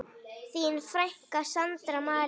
Þín frænka, Sandra María.